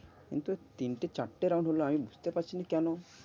কিন্তু তিনটে চারটে round হল আমি বুঝতে পারছিনা কেন?